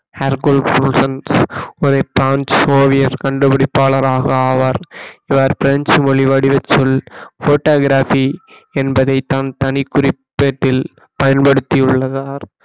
ஹெர்குல் ஃப்ருசன் கண்டுபிடிப்பாளராக ஆவார் இவர் பிரஞ்சு மொழி வடிவச்சொல் photography என்பதை தான் தனிக்குறிப்பேட்டில் பயன்படுத்தியுள்ளார்